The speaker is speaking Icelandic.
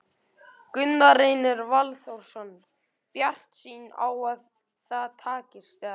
Gunnar Reynir Valþórsson: Bjartsýn á að það takist, eða?